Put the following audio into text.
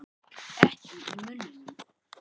Ekki í munninum.